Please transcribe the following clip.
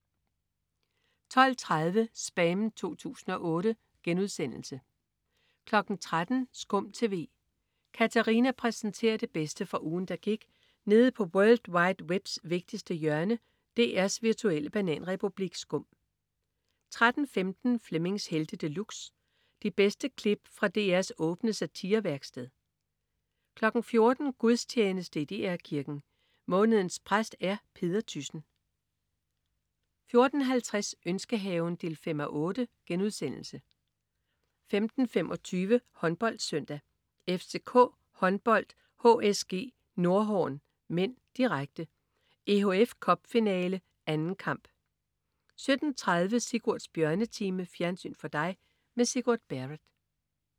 12.30 SPAM 2008* 13.00 SKUM TV. Katarina præsenterer det bedste fra ugen, der gik nede på world wide webs vigtigste hjørne, DR's virtuelle bananrepublik SKUM 13.15 Flemmings Helte De Luxe. De bedste klip fra DRs åbne satirevæksted 14.00 Gudstjeneste i DR Kirken. Månedens præst er Peder Thyssen 14.50 Ønskehaven 5:8* 15.25 HåndboldSøndag: FCK Håndbold-HSG Nordhorn (m), direkte. EHF Cup-finale, 2. kamp 17.30 Sigurds Bjørnetime. Fjernsyn for dig med Sigurd Barrett